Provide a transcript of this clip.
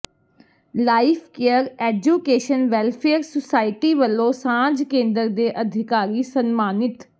life care education welfare society ਵਲੋਂ ਸਾਂਝ ਕੇਂਦਰ ਦੇ ਅਧਿਕਾਰੀ ਸਨਮਾਨਿਤ